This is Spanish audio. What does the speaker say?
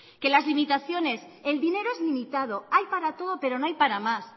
que las limitaciones el dinero es limitado hay para todo pero no hay para más